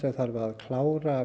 þarf að klára